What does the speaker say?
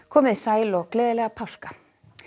komiði sæl og gleðilega páska